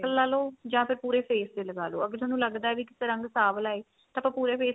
ਲਾਲੋ ਜਾਂ ਫੇਰ ਪੂਰੇ face ਤੇ ਲਗਾਲੋ ਅਗਰ ਤੁਹਾਨੂੰ ਲੱਗਦਾ ਵੀ ਕਿਤੇ ਰੰਗ ਸਵਲਾ ਏ ਤਾਂ ਤੇ ਪੂਰੇ face ਤੇ